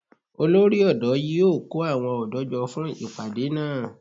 Olórí ọ̀dọ́ yíó kó àwọn ọ̀dọ́ jọ fún ìpàdé náà